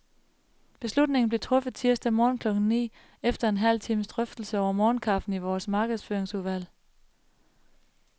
Beslutningen blev truffet tirsdag morgen klokken ni, efter en halv times drøftelse over morgenkaffen i vores markedsføringsudvalg.